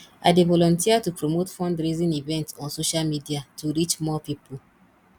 i dey volunteer to promote fundraising events on social media to reach more people